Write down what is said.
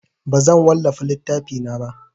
Bazan wallafa littafina ba.